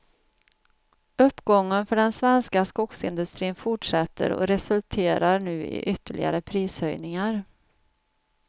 Uppgången för den svenska skogsindustrin fortsätter och resulterar nu i ytterligare prishöjningar.